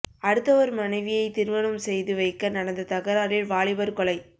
அடுத்தவர் மனைவியை திருமணம் செய்து வைக்க நடந்த தகராறில் வாலிபர் கொலை